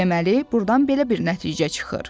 Deməli, burdan belə bir nəticə çıxır.